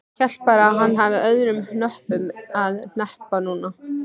Hélt bara að hann hefði öðrum hnöppum að hneppa núna.